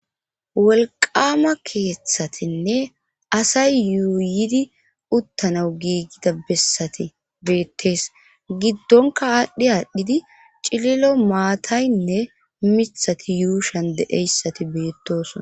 wolqama keeththatinne asay yuuyidi uttanawu giigida bessati beettees giddonka aadhdhi aadhdhidi cililo maataynne mithati yuushan de7eyssati beettosona